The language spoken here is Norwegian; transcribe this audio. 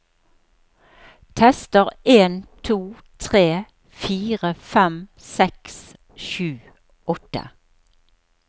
Tester en to tre fire fem seks sju åtte